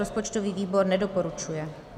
Rozpočtový výbor nedoporučuje.